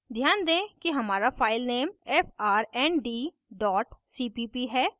ध्यान दें कि हमारा file नेम frnd cpp है